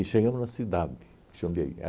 E chegamos na cidade, Jundiaí.